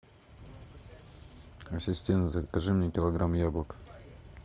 ассистент закажи мне килограмм яблок